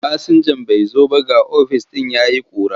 Masinjan bai zo ba ga ofis ɗin ya yi ƙura.